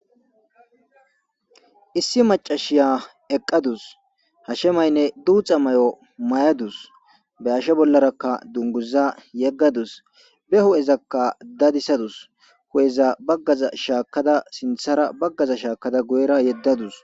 issi macashiya eqqadus hashemaynne duuxa may7o may7adus be ashe bollarakka dunguza yeggadus be ho7ezakka dadisadus ho7eza baggaza shaakada sinthara baggaza shaakada goyra yeddadus